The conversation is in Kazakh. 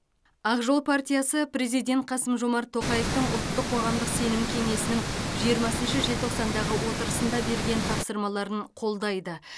ақ жол партиясы президент қасым жомарт тоқаевтың ұлттық қоғамдық сенім кеңесінің жиырмасыншы желтоқсандағы отырысында берген тапсырмаларын қолдайды